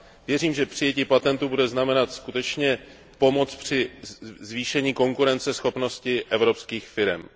Věřím, že přijetí patentu bude znamenat skutečně pomoc pro zvýšení konkurenceschopnosti evropských firem.